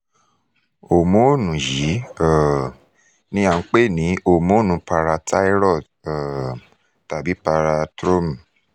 homonu yii um ni a npe ni homonu parathyroid um tabi parathormone